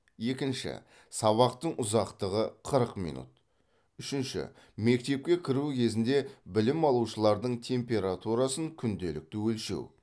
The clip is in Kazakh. екінші сабақтың ұзақтығы қырық минут үшінші мектепке кіру кезінде білім алушылардың температурасын күнделікті өлшеу